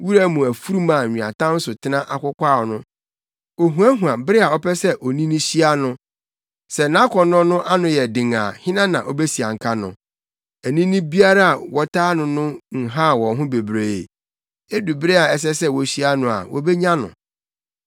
wura mu afurum a nweatam so tena akokwaw no, ohuahua bere a ɔpɛ sɛ onini hyia no. Sɛ nʼakɔnnɔ no ano yɛ den a hena na obesianka no? Anini biara a wɔtaa no no nhaw wɔn ho bebree; edu bere a ɛsɛ sɛ wohyia no a wobenya no.